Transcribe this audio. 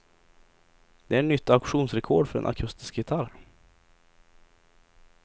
Det är nytt auktionsrekord för en akustisk gitarr.